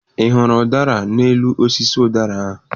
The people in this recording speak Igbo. Ị hụrụ ụdara n'elu osisi ụdara ahụ?